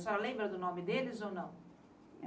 A senhora lembra do nome deles ou não?